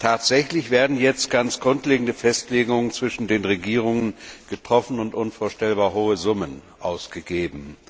Tatsächlich werden jetzt ganz grundlegende Festlegungen zwischen den Regierungen getroffen und unvorstellbar hohe Summen ausgegeben.